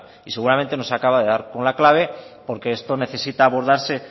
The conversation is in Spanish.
y seguramente nos acaba de dar con la clave porque esto necesita abordarse